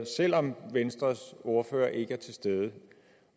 selv om venstres ordfører ikke er til stede